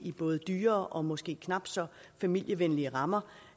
i både dyrere og måske knap så familievenlige rammer